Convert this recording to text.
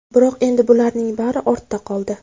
Biroq endi bularning bari ortda qoldi.